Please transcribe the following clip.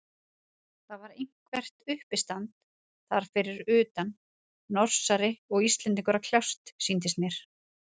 Það var eitthvert uppistand þar fyrir utan, Norsari og Íslendingur að kljást, sýndist mér.